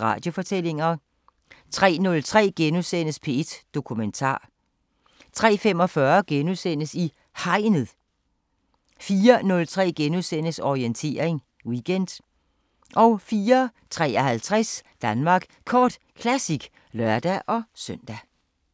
Radiofortællinger * 03:03: P1 Dokumentar * 03:45: I Hegnet * 04:03: Orientering Weekend * 04:53: Danmark Kort Classic (lør-søn)